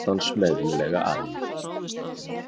Núna glotti hann smeðjulega að henni.